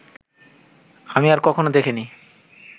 আমি আর কখনো দেখিনি